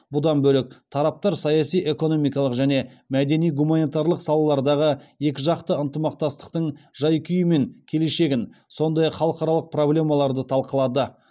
бұдан бөлек тараптар саяси экономикалық және мәдени гуманитарлық салалардағы екіжақты ынтымақтастықтың жай күйі мен келешегін сондай ақ халықаралық проблемаларды талқылады